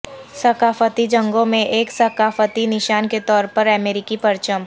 ثقافتی جنگوں میں ایک ثقافتی نشان کے طور پر امریکی پرچم